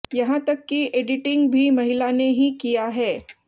यहाँ तक की एडिटिंग भी महिला ने ही किया है